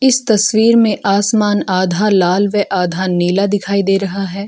इस तस्वीर में आसमान आधा लाल व आधा नीला दिखाई दे रहा है।